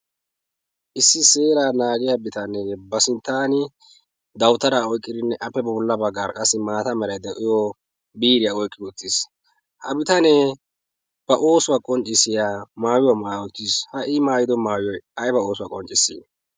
issi seeraa naagiya bitanee ba sinttani dawutaraa oyqqirinne ape boolla baaggaara qassi maata meray da'iyo biiriyaa oyqqi uttiis ha bitanee ba oosuwaa qonccissiya maawiywaa maayaotiis ha'i maayido maawiyoy ayba oosuwaa qonccissi